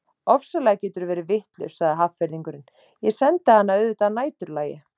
Ofsalega geturðu verið vitlaus sagði Hafnfirðingurinn, ég sendi hana auðvitað að næturlagi